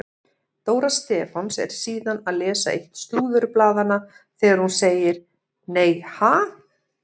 Dóra Stefáns er síðan að lesa eitt slúðurblaðanna þegar hún segir: Nei ha?